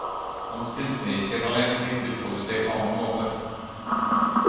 Hans kunstneriske talent fikk utfolde seg på annen måte.